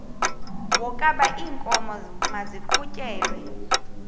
wokaba iinkomo maziqhutyelwe